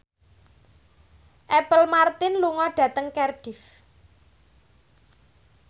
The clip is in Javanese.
Apple Martin lunga dhateng Cardiff